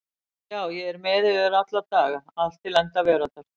Sjá ég er með yður alla daga allt til enda veraldar.